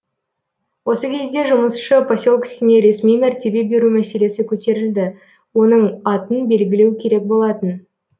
осы кезде жұмысшы поселкесіне ресми мәртебе беру мәселесі көтерілді оның атын белгілеу керек болатын